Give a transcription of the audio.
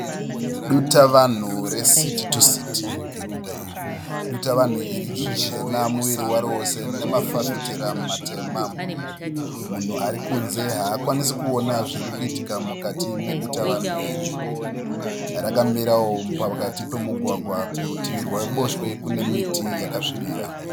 Dutavanhu reCity-to-City. Dutavanhu iri ijena muviri waro wose. Rine mafafitera matema, munhu arikunze haakwanise kuona zvirikuitika mukati medutavanhu iri. Rakamirawo pakati pemugwagwa. Kurutivi rweruboshwe kune miti yakasvibira.